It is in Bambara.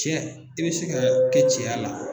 Cɛ i bɛ se ka o kɛ cɛya la.